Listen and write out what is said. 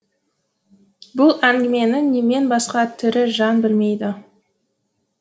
бұл әңгімені менен басқа тірі жан білмейді